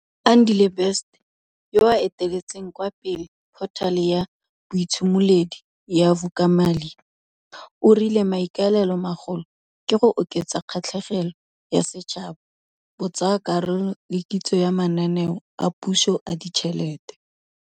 Andile Best, yoo a eteletseng kwa pele phothale ya boitshimoledi ya Vulekamali, o rile maikaelelomagolo ke go oketsa kgatlhegelo ya setšhaba, botsaakarolo le kitso ya mananeo a puso a ditšhelete.